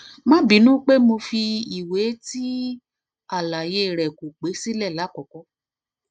ma binu pe mo fi iwe ti alaye re ko pe sile lakoko